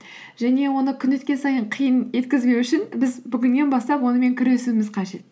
және оны күн өткен сайын қиын еткізбеу үшін біз бүгіннен бастап онымен күресуіміз қажет